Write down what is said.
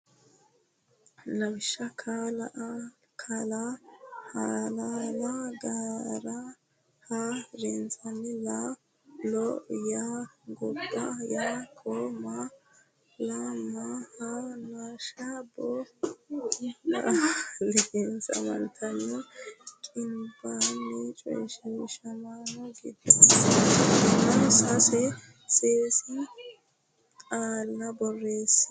Lawishsha ka la hala la ga ra ha rinsho la lo ya gobba ya ko ma la ma ha nashsho boo na liqinsamatenni qinaabbino coyshiishamaano giddonsa afidhinota sase sase qaalla borreesse.